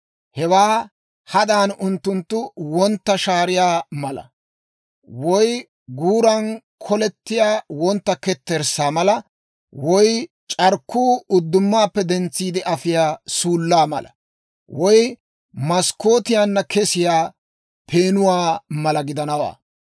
Hewaa hadan unttunttu wontta shaariyaa mala, woy guuran k'olettiyaa wontta ketterssaa mala woy c'arkkuu uddumaappe dentsiide afiyaa suullaa mala woy maskkootiyaanna kesiyaa peenuwaa mala gidanawaa.